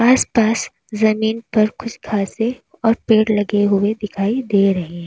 आस पास जमीन पर कुछ घासे और पेड़ लगे हुए दिखाई दे रहे हैं।